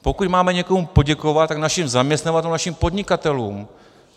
Pokud máme někomu poděkovat, tak našim zaměstnavatelům, našim podnikatelům.